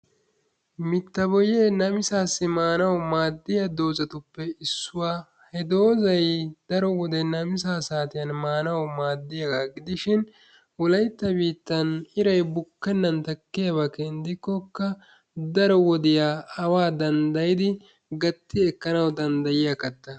mita boyee namisaasso madiya mitatuppe issuwa ha dozay daro wode namisaa naaganawu maadiya katta, ha dozzay iray xayikkokka daro wodiya awaa danddayidi gatti ekkanawu dandayiya katta